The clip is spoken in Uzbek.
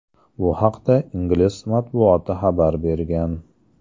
Bu haqda ingliz matbuoti xabar bergan.